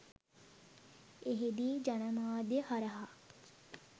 එහිදී ජනමාධ්‍ය හරහා